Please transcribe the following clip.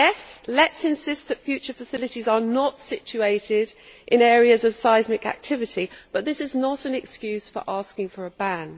Yes, let us insist that future facilities are not situated in areas of seismic activity, but this is not an excuse for asking for a ban.